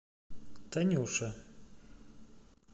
танюше